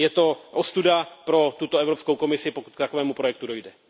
Je to ostuda pro tuto Evropskou komisi, pokud k takovému projektu dojde.